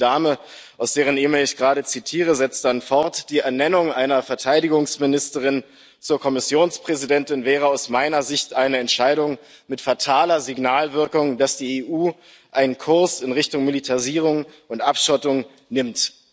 Und die Dame, aus deren E Mail ich gerade zitiere, setzt dann fort Die Ernennung einer Verteidigungsministerin zur Kommissionspräsidentin wäre aus meiner Sicht eine Entscheidung mit fataler Signalwirkung, dass die EU einen Kurs in Richtung Militarisierung und Abschottung nimmt.